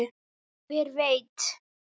Hver veit!